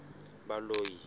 baloi